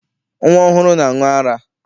Nnwa ọhụrụ na-aṅụ ara.